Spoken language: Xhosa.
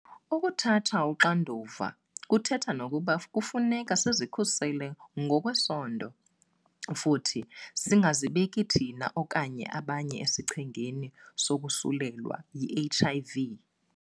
Ukuthatha uxanduva kuthetha nokuba kufuneka sizikhusele kwezesondo futhi singazibeki thina okanye abanye esichengeni sokosulelwa yi-HIV .